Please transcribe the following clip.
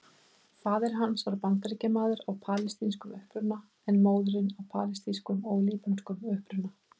Faðir hans var Bandaríkjamaður af palestínskum uppruna en móðirin af palestínskum og líbönskum uppruna.